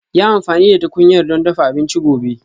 Yi amfani da tukunyar don dafa abinci gobe